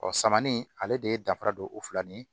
Ɔ samani ale de ye danfara don o fila ni